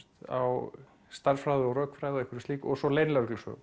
á stærðfræði og rökfræði og einhverju slíku og svo